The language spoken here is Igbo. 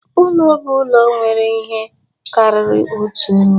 Ụlọ bụ ụlọ nwere ihe karịrị otu onye